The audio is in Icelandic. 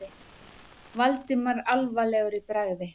Valdimar alvarlegur í bragði.